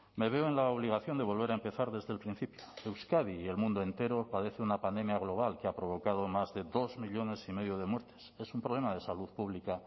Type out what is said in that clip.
me veo en la obligación de volver a empezar desde el principio euskadi y el mundo entero padece una pandemia global que ha provocado más de dos millónes y medio de muertes es un problema de salud pública